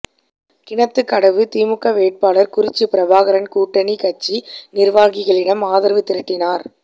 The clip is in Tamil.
கிணத்துக்கடவு திமுக வேட்பாளர் குறிச்சி பிரபாகரன் கூட்டணி கட்சி நிர்வாகிகளிடம் ஆதரவு திரட்டினார்